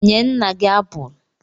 Nye nna gị apụl!